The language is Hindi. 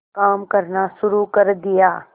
काम करना शुरू कर दिया